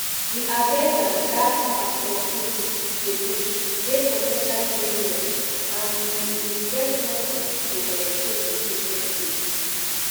di agenda [dat] pastor chris dey push dey po ten tially dangerous and e e get nothing to um do with di christian faith